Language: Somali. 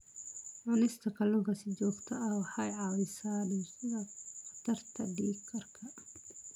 Cunista kalluunka si joogto ah waxay caawisaa dhimista khatarta dhiig karka.